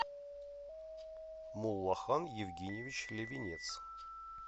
муллахан евгеньевич левенец